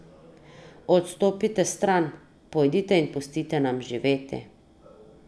Odstopite stran, pojdite in pustite nam živeti.